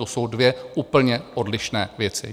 To jsou dvě úplně odlišné věci.